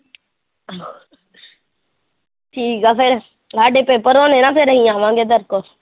ਠੀਕ ਆ ਫਿਰ ਸਾਡੇ ਪੇਪਰ ਹੋ ਗਏ ਨਾ ਫਿਰ ਅਸੀਂ ਆਵਾਂਗੇ ਤੇਰੇ ਕੋਲ।